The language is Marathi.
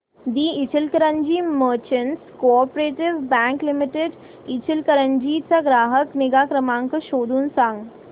दि Ichalkaranji merchants co-op bank limited Ichalkaranji चा ग्राहक निगा नंबर शोधून सांग